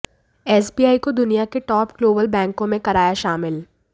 SBI को दुनिया के टॉप ग्लोबल बैंकों में कराया शामिल